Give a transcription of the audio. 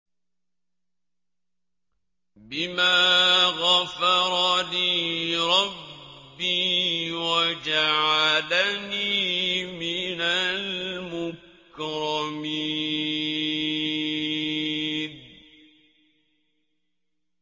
بِمَا غَفَرَ لِي رَبِّي وَجَعَلَنِي مِنَ الْمُكْرَمِينَ